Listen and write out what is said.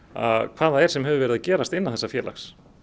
hvað það er sem hefur verið að gerast innan þessa félags